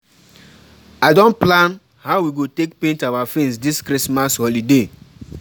I don plan how we go take paint our fence this Christmas holiday